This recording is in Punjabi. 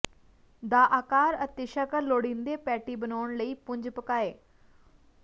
ਦਾ ਆਕਾਰ ਅਤੇ ਸ਼ਕਲ ਲੋੜੀਦੇ ਪੈਟੀ ਬਣਾਉਣ ਲਈ ਪੁੰਜ ਪਕਾਏ